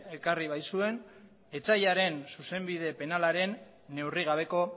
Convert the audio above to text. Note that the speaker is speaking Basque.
ekarri baitzuen etsaiaren zuzenbide penalaren neurrigabeko